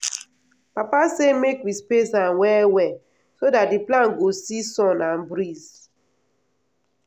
papa say make we space am well well so dat d plant go see sun and breeze.